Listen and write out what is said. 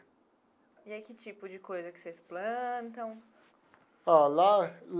E aí que tipo de coisa que vocês plantam? Ó lá.